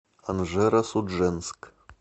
анжеро судженск